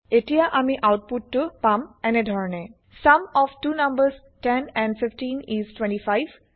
এতিয়া আমি আউতপুত টো পাম এনেধৰনে sum of two numbers 10 and 15 is 25